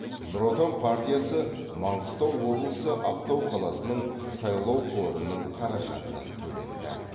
нұр отан партиясы маңғыстау облысы ақтау қаласының сайлау қорының қаражатынан төленді